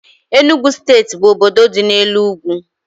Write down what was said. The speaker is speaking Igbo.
Enugu steeti bụ obodo dị n' elu ugwu